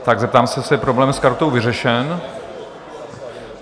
Tak zeptám se, jestli je problém s kartou vyřešen.